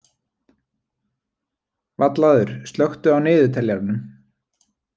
Vallaður, slökktu á niðurteljaranum.